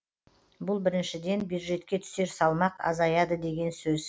бұл біріншіден бюджетке түсер салмақ азаяды деген сөз